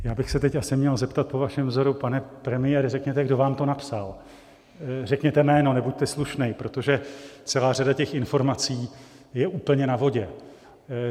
Já bych se teď asi měl zeptat po vašem vzoru: Pane premiére, řekněte, kdo vám to napsal, řekněte jméno, nebuďte slušnej - protože celá řada těch informací je úplně na vodě.